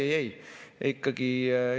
Ei, ei, ei.